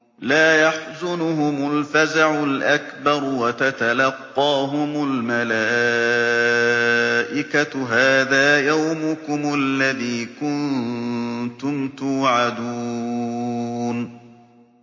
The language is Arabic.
لَا يَحْزُنُهُمُ الْفَزَعُ الْأَكْبَرُ وَتَتَلَقَّاهُمُ الْمَلَائِكَةُ هَٰذَا يَوْمُكُمُ الَّذِي كُنتُمْ تُوعَدُونَ